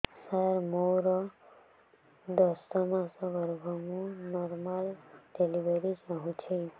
ସାର ମୋର ଦଶ ମାସ ଗର୍ଭ ମୁ ନର୍ମାଲ ଡେଲିଭରୀ ଚାହୁଁଛି